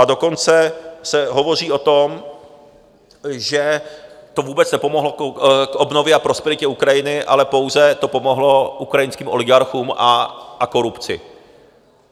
A dokonce se hovoří o tom, že to vůbec nepomohlo k obnově a prosperitě Ukrajiny, ale pouze to pomohlo ukrajinským oligarchům a korupci.